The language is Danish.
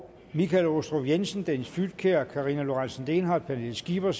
michael aastrup jensen dennis flydtkjær karina lorentzen dehnhardt pernille skipper